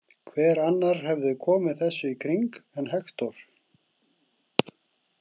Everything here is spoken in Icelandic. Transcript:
Hver annar hafði komið þessu í kring en Hektor?